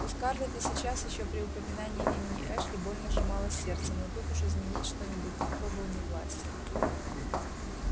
у скарлетт и сейчас ещё при упоминании имени эшли больно сжималось сердце но тут уж изменить что-нибудь никто был не властен